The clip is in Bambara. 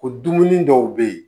Ko dumuni dɔw be yen